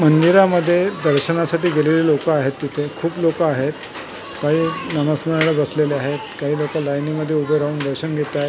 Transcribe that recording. मंदिरामध्ये दर्शनासाठी गेलेली लोकं आहेत तिथे खूप लोकं आहेत काही नामस्मरणाला बसलेली आहेत काही लोकं लाइनी मधे राहून दर्शन घेतायेत.